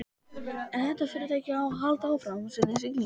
Ef þetta fyrirtæki á að halda áfram sinni siglingu.